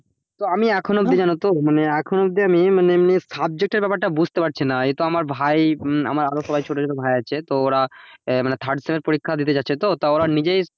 তো আমি এখনো কি জানো তো আমি subject এর ব্যাপারটা বুঝতে পারছি না এ তো আমার ভাই আরো সবাই ছোট ছোট ভাই আছে তো ওরা ওখানে third sem এর পরীক্ষা দিতে যাচ্ছে তো ওরা নিজেই